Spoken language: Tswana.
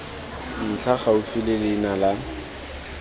ntlha gaufi le leina la